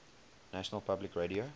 national public radio